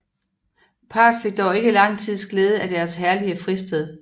Parret fik dog ikke lang tids glæde af deres herlige fristed